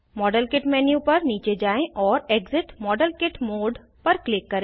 model kit menu पर नीचे जाएँ और एक्सिट मॉडेल किट मोडे पर क्लिक करें